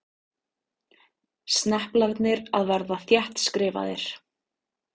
Sneplarnir að verða þéttskrifaðir.